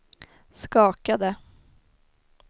skakade